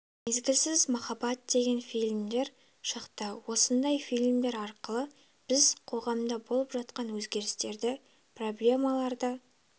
мезгілсіз махаббат деген фильмдер шықты осындай фильмдер арқылы біз қоғамда болып жатқан өзгерістерді проблемаларды